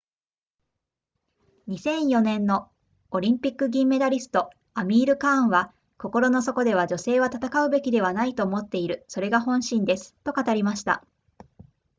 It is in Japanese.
2004年のオリンピック銀メダリストアミールカーンは心の底では女性は戦うべきではないと思っているそれが本心ですと語りました